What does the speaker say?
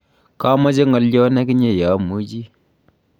kamoche ngolion ak inye ye amuuchi.